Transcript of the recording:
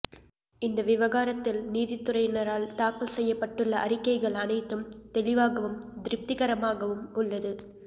இந்த விவகாரத்தில் நீதித்துறையினரால் தாக்கல் செய்யப்பட்டுள்ள அறிக்கைகள் அனைத்தும் தெளிவாகவும் திருப்திகரமாகவும் உள்ளது